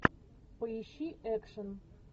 поищи экшн